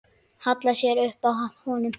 Hallar sér upp að honum.